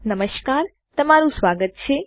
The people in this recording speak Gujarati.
નમસ્કાર તમારું સ્વાગત છે